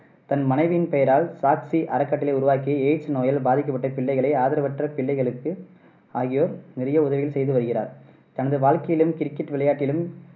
தன் மனைவியின் பெயரால் சாக்ஷி அறக்கட்டளை உருவாக்கி aids நோயால் பாதிக்கப்பட்ட பிள்ளைகள், ஆதரவற்ற பிள்ளைகளுக்கு ஆகியோர் நிறைய உதவிகள் செய்து வருகிறார். தனது வாழ்க்கையிலும், கிரிக்கெட் விளையாட்டிலும்,